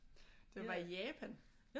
Da jeg var i Japan